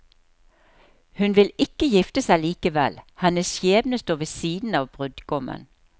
Hun vil ikke gifte seg likevel, hennes skjebne står ved siden av brudgommen.